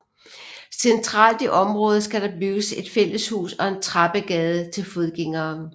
Centralt i området skal der bygges et fælleshus og en trappegade til fodgængere